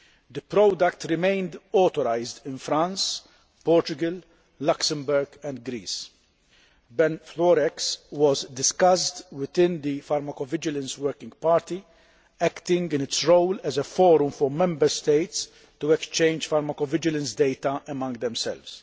The product remained authorised in France, Portugal, Luxembourg and Greece. Benfluorex was discussed within the pharmacovigilance working party, acting in its role as a forum for Member States to exchange pharmacovigilance data among themselves.